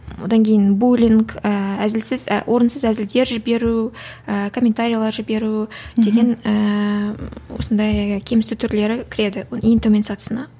одан кейін булинг ііі әзілсіз і орынсыз әзілдер жіберу ііі комментариялар жіберу деген ііі осындай кемсіту түрлері кіреді ең төмен сатысына